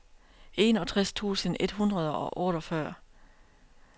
enogtres tusind et hundrede og otteogfyrre